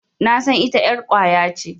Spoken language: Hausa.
Nasan ita ƴar ƙwaya ce.